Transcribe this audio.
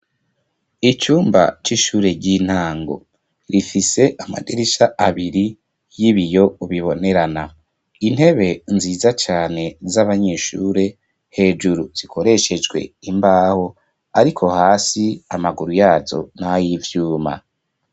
Icumba c'ishure ry'intango rifise amadirisha abiri y'ibiyo bibonerana intebe nziza cane z'abanyeshure hejuru zikoreshejwe imbaho ariko hasi amaguru yazo na y'ivyuma.